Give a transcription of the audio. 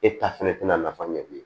E ta fɛnɛ tɛna nafa ɲɛ bilen